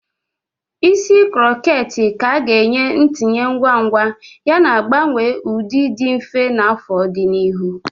Isi krokhet ka ga-enye ntinye ngwa ngwa yana mgbanwe ụdị dị mfe na afo di n'ihu.